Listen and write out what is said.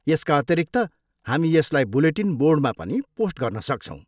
यसका अतिरिक्त, हामी यसलाई बुलेटिन बोर्डमा पनि पोस्ट गर्न सक्छौँ।